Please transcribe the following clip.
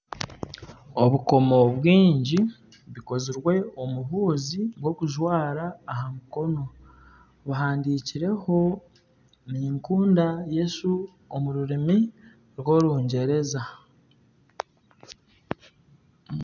Obukomo bwingi bukozirwe omu huuzi bw'okujwara aha mukono buhandikireho ninkunda Yesu omu rurimi rw'orungyereza